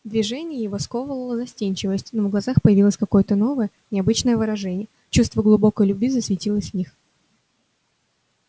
движения его сковывала застенчивость но в глазах появилось какое то новое необычное выражение чувство глубокой любви засветилось в них